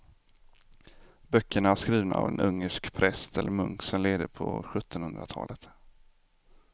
Böckerna är skrivna av en ungersk präst eller munk som levde på sjuttonhundratalet.